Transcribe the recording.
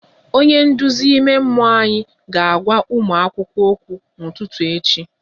Onye nduzi ime mmụọ anyị ga-agwa ụmụ akwụkwọ okwu n'ụtụtụ echi